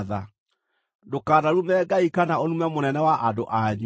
“Ndũkanarume Ngai kana ũrume mũnene wa andũ anyu.